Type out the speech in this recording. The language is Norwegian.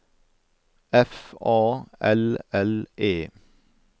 F A L L E